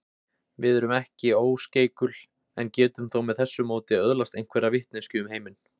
Við erum ekki óskeikul en getum þó með þessu móti öðlast einhverja vitneskju um heiminn.